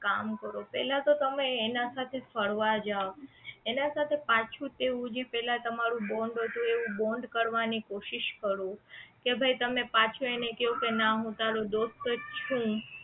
કામ કરો પહેલા તો તમે એના સાથે ફરવા જાવ એના સાથે પાછું તેવું જે પહેલા તમારું bond હતું એવું bond કરવાની કોશિશ કરો કે ભાઈ તમે પાછો એને કયો કે ના હું તારો દોસ્ત જ છું